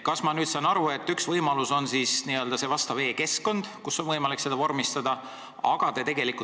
Kas ma nüüd saan õigesti aru, et üks võimalus on see e-keskkond, kus on võimalik seda vormistada?